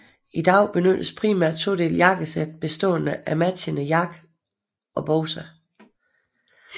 I dag benyttes primært todelt jakkesæt bestående af matchende jakke og bukser